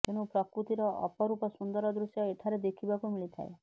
ତେଣୁ ପ୍ରକୃତିର ଅପରୂପ ସୁନ୍ଦର ଦୃଶ୍ୟ ଏଠାରେ ଦେଖିବାକୁ ମିଳିଥାଏ